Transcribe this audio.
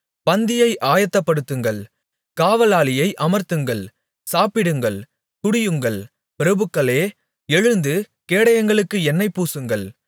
பந்தியை ஆயத்தப்படுத்துங்கள் காவலாளியை அமர்த்துங்கள் சாப்பிடுங்கள் குடியுங்கள் பிரபுக்களே எழுந்து கேடயங்களுக்கு எண்ணெய் பூசுங்கள்